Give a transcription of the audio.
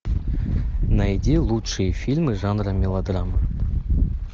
найди лучшие фильмы жанра мелодрама